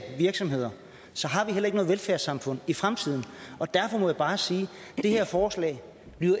virksomheder så har vi heller ikke noget velfærdssamfund i fremtiden derfor må jeg bare sige at det her forslag